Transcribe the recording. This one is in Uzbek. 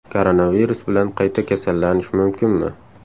Koronavirus bilan qayta kasallanish mumkinmi?